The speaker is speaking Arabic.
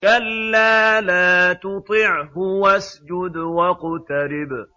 كَلَّا لَا تُطِعْهُ وَاسْجُدْ وَاقْتَرِب ۩